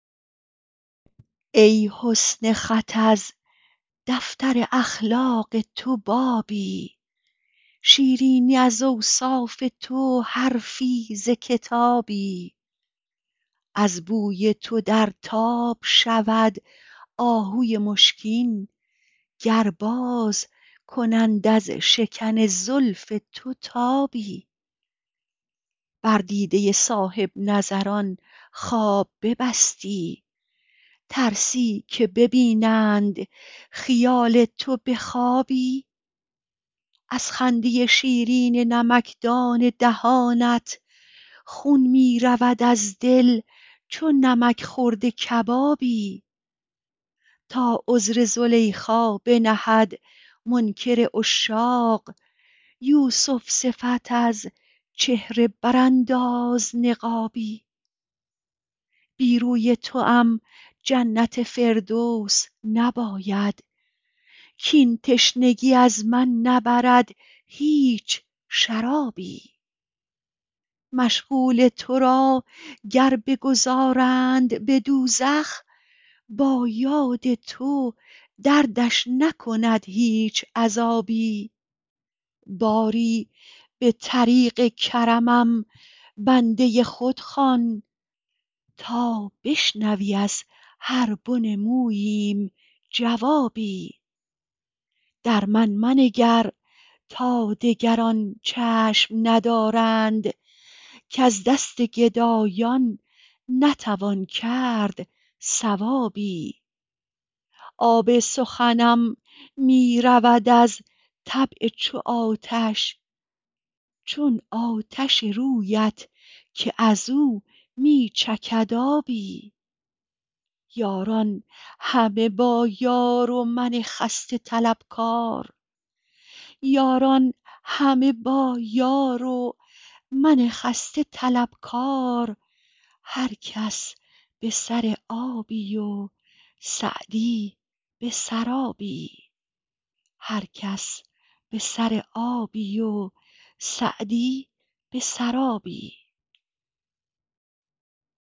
ای حسن خط از دفتر اخلاق تو بابی شیرینی از اوصاف تو حرفی ز کتابی از بوی تو در تاب شود آهوی مشکین گر باز کنند از شکن زلف تو تابی بر دیده صاحب نظران خواب ببستی ترسی که ببینند خیال تو به خوابی از خنده شیرین نمکدان دهانت خون می رود از دل چو نمک خورده کبابی تا عذر زلیخا بنهد منکر عشاق یوسف صفت از چهره برانداز نقابی بی روی توام جنت فردوس نباید کاین تشنگی از من نبرد هیچ شرابی مشغول تو را گر بگذارند به دوزخ با یاد تو دردش نکند هیچ عذابی باری به طریق کرمم بنده خود خوان تا بشنوی از هر بن موییم جوابی در من منگر تا دگران چشم ندارند کز دست گدایان نتوان کرد ثوابی آب سخنم می رود از طبع چو آتش چون آتش رویت که از او می چکد آبی یاران همه با یار و من خسته طلبکار هر کس به سر آبی و سعدی به سرابی